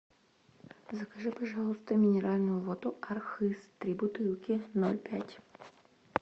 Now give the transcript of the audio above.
закажи пожалуйста минеральную воду архыз три бутылки ноль пять